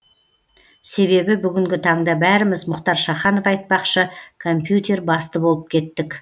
себебі бүгінгі таңда бәріміз мұхтар шаханов айтпақшы компьютер басты болып кеттік